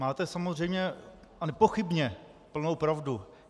Máte samozřejmě a nepochybně plnou pravdu.